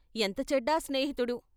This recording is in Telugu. ఎంత చెడ్డా స్నేహితుడు.